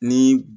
Ni